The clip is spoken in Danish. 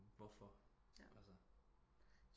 Hvorfor altså